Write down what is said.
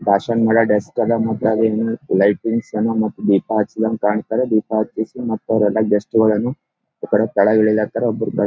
ಬಾಶನ್ಮೇಲೆ dust ಅದೇ ಮತ್ದ್ ಅದನ್ನು ಲೈಟಿಂಗ್ಸ್ ಅನ್ ಮತ್ ದೀಪಹಚ್ದಹಾಗೆ ಕಾಣ್ತಾರ ದೀಪಹಚ್ಚಿಸಿ ಮತ್ತ ಅವ್ರ ಗೆಸ್ಟ್ಗ ಳನ್ನೂ ಇಕಡೆ ಕೆಳಗ ಇಳಿಲತಾರ ಒಬ್ರು --